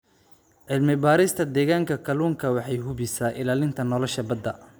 Cilmi-baarista deegaanka kalluunka waxay hubisaa ilaalinta nolosha badda.